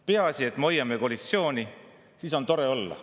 Peaasi, et me hoiame koalitsiooni, siis on tore olla.